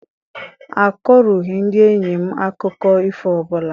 A kọrọghị ndị enyi m akụkọ ifo ọbụla.